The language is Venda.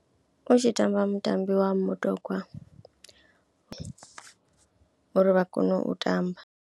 U tshi tamba mutambo wa mutogwa uri vha kone u tamba.